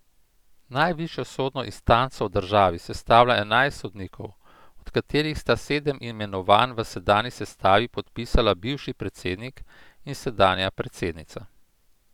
Najvišjo sodno instanco v državi sestavlja enajst sodnikov, od katerih sta sedem imenovanj v sedanji sestavi podpisala bivši predsednik in sedanja predsednica.